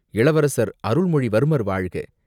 இளவரசர் அருள்மொழிவர்மர் வாழ்க!